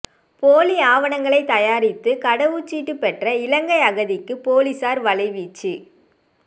போலி ஆவணங்கள் தயாரித்து கடவுச்சீட்டு பெற்ற இலங்கை அகதிக்கு பொலிஸார் வலைவீச்சு